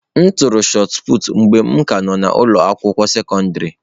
M tụrụ shọt pụtụ mgbe m ka nọ n'ụlọ akwụkwọ sekọndrị.